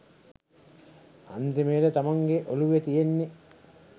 අන්තිමයට තමන්ගෙ ඔලුවෙ තියෙන්නෙ